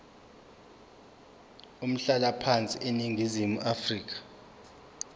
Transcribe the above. umhlalaphansi eningizimu afrika